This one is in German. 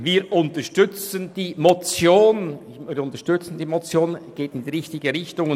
Wir unterstützen die Motion, sie geht in die richtige Richtung.